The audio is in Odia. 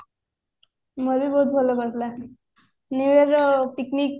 ମୋର ବି ବହୁତ ଭଲ କଟିଲା new year ର picnic